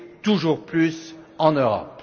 toujours plus en Europe.